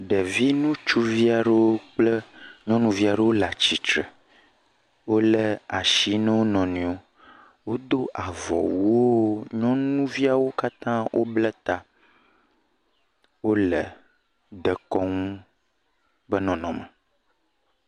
Ɖevi ŋutsuvi aɖewo kple nyɔnuvi aɖewo wole atsitre, wolé asi ne wo nɔ nɔewo, wodo avɔwuwo, nyɔnuviawo katã wobla ta. Wole dekɔnu be nɔnɔme.